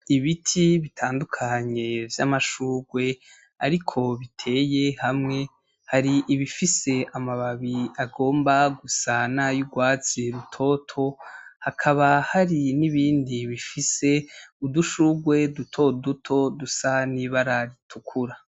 Ibiti bitandukanye vy'amashurwe ariko biteye hamwe, hari ibifise amababi agomba gusa n'ayurwatsi rutoto, hakaba hari nibindi bifise udushurwe dutoduto dusa n'ibara ritukura.